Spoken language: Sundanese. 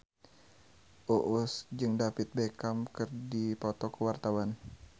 Uus jeung David Beckham keur dipoto ku wartawan